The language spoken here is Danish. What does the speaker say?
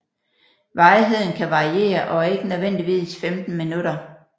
Varigheden kan variere og er ikke nødvendigvis 15 minutter